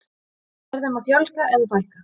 Er þeim að fjölga eða fækka?